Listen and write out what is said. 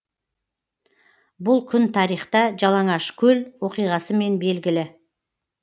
бұл күн тарихта жалаңашкөл оқиғасымен белгілі